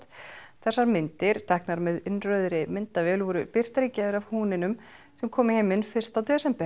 þessar myndir teknar með myndavél voru birtar gær af húninum sem kom í heiminn fyrsta desember